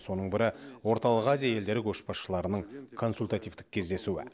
соның бірі орталық азия елдері көшбасшыларының консультативтік кездесуі